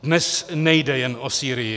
Dnes nejde jen o Sýrii.